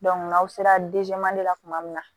n'aw sera la kuma min na